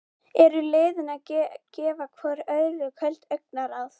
Eru liðin að gefa hvoru öðru köld augnaráð?